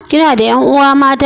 Kina da 'yan uwa mata?